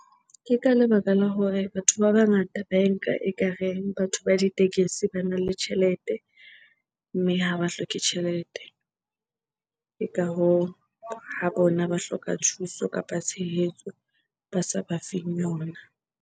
Ke ka lebaka la hore batho ba bangata ba e nka ekareng batho ba ditekesi bana le tjhelete mme ha ba hloke tjhelete. Ke ka hoo, ha bona ba hloka thuso kapa tshehetso ba sa ba feng yona.